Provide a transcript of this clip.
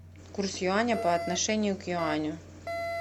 курс юаня по отношению к юаню